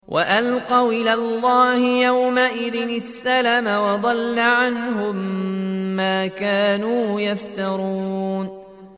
وَأَلْقَوْا إِلَى اللَّهِ يَوْمَئِذٍ السَّلَمَ ۖ وَضَلَّ عَنْهُم مَّا كَانُوا يَفْتَرُونَ